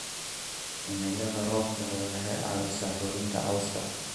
Cimilada roobka leh waxay caawisaa koritaanka cawska.